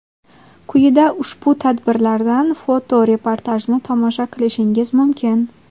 Quyida ushbu tadbirlardan foto-reportajni tomosha qilishingiz mumkin.